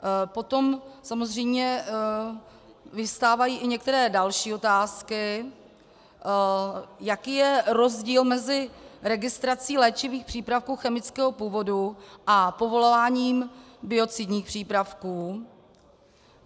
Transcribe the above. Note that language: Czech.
Potom samozřejmě vyvstávají i některé další otázky: Jaký je rozdíl mezi registrací léčivých přípravků chemického původu a povolováním biocidních přípravků?